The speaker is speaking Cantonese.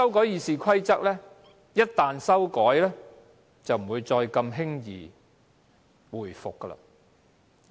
《議事規則》一經修訂，便難以往回走。